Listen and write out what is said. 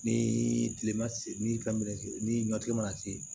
Ni tile ma se ni ye ni ɲɔti ma se